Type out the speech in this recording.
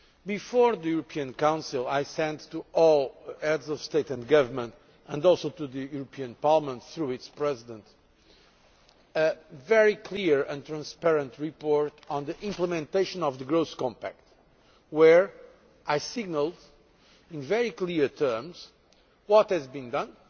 Before the European Council I sent to all Heads of State and Government, and also to the European Parliament through its President, a very clear and transparent report on the implementation of the Growth Compact, where I signalled, in very clear terms, what has been done,